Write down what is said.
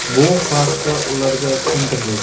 Bu haqda ularga tushuntirdik.